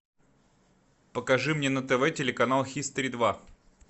покажи мне на тв телеканал хистори два